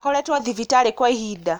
Akoretwo thibitarĩ kwa ihinda